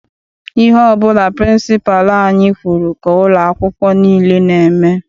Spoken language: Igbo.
Ihe ọbụla pịrịnsịpalụ anyị kwụrụ ka ụlọ akwụkwọ nile n'eme.